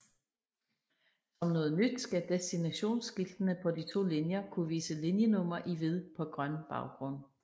Som noget nyt skal destinationsskiltene på de to linjer kunne vise linjenummer i hvid på grøn baggrund